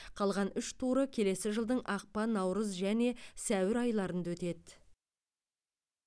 қалған үш туры келесі жылдың ақпан наурыз және сәуір айларында өтеді